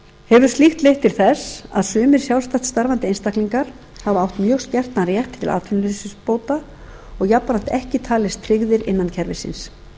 hefur slíkt leitt til þess að sumir sjálfstætt starfandi einstaklingar geta átt mjög skertan rétt til atvinnuleysisbóta og jafnframt ekki talist tryggðir innan kerfisins